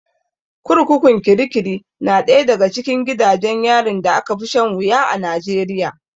Kurkukun kirkiri na ɗaya daga cikin gidajen yarin da aka fi shan wuya a Najeriya.